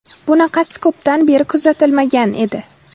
Bunaqasi ko‘pdan beri kuzatilmagan edi.